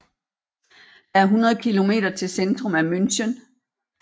Der er 100 km til centrum af München